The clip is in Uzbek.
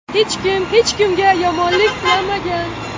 Hech kim hech kimga yomonlik tilamagan.